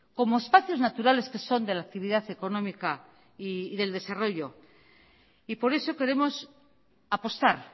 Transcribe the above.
como espacios naturales que son de la actividad económica y del desarrollo y por eso queremos apostar